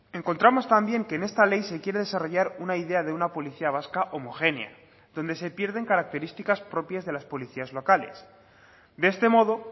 encontramos también que en esta ley se quiere desarrollar una idea de una policía vasca homogénea donde se pierden características propias de las policías locales de este modo